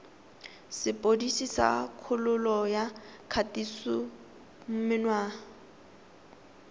sepodisi sa kgololo ya kgatisomenwa